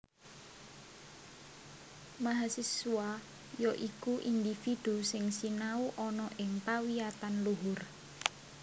Mahasiswa ya iku individu sing sinau ana ing pawiyatan luhur